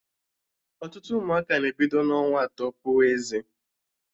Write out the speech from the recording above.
Ọtụtụ ụmụaka na-ebido n'ọnwa atọ puwe eze